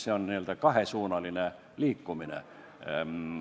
See on n-ö kahesuunaline liikumine.